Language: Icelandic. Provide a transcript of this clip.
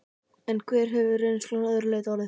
En hver hefur reynslan að öðru leyti orðið?